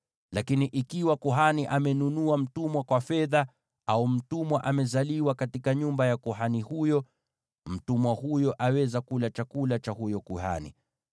Lakini ikiwa kuhani amenunua mtumwa kwa fedha, au mtumwa amezaliwa katika nyumba ya kuhani huyo, mtumwa huyo aweza kula chakula cha huyo kuhani.